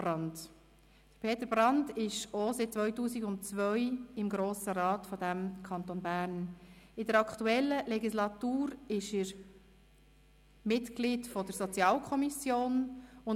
Manchmal fliegen dort ein bisschen die Fetzen, oder es steht rechts gegen links, aber es ist sehr wichtig, dass wir uns dort so gut austauschen können.